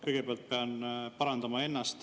Kõigepealt pean ennast parandama.